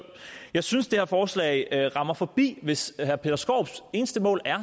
jeg synes det her forslag rammer forbi hvis herre peter skaarups eneste mål er